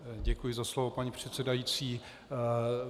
Děkuji za slovo, paní předsedající.